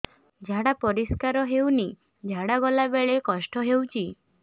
ଝାଡା ପରିସ୍କାର ହେଉନି ଝାଡ଼ା ଗଲା ବେଳେ କଷ୍ଟ ହେଉଚି